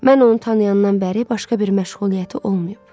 Mən onu tanıyandan bəri başqa bir məşğuliyyəti olmayıb.